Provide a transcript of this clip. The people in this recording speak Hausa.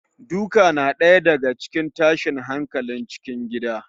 Duka na ɗaya daga cikin tashin hankalin cikin gida